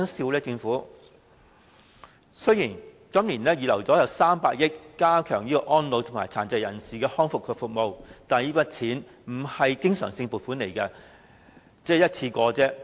雖然政府今年預留了300億元加強安老和殘疾人士康復服務，但這筆錢並非經常性而是一次性撥款。